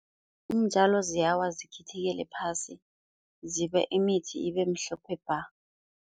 Iintjalo ziyawa zikhithikela phasi, zibe imithi ibe mhlophe bha.